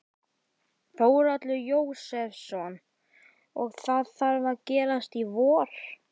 Þórhallur Jósefsson: Og það þarf að gerast í vor?